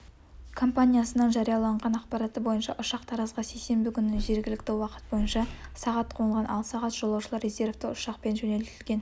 компаниясының жарияланған ақпараты бойынша ұшақ таразға сейсенбі күні жергілікті уақыт бойынша сағат қонған ал сағат жолаушылар резевті ұшақпен жөнелтілген